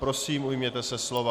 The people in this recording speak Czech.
Prosím, ujměte se slova.